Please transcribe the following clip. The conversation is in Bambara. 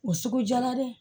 O sugu jala dɛ